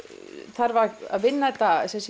þarf að vinna þetta